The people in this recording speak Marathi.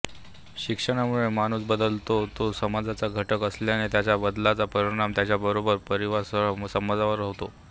शिक्षणामुळे माणूस बदलतो तो समाजाचा घटक असल्याने त्याच्या बदलाचा परिणाम त्याच्याबरोबर परिवारासह समाजावर होतो